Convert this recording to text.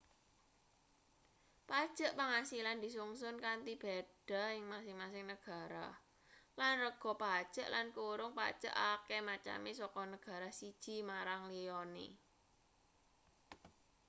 pajeg pangasilan disungsun kanthi beda ing masing-masing negara lan rega pajeg lan kurung pajeg akeh maceme saka negara siji marang liyane